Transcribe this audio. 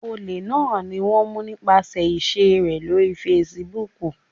Olè náà ni wón mú nípasẹ̀ ìṣe rè lórí Facebook.